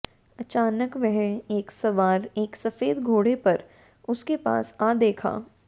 अचानक वह एक सवार एक सफेद घोड़े पर उसके पास आ देखा